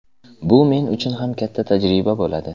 Bu men uchun ham katta tajriba bo‘ladi.